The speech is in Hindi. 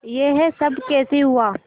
यह सब कैसे हुआ